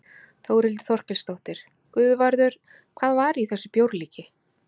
Þórhildur Þorkelsdóttir: Guðvarður, hvað var í þessu bjórlíki?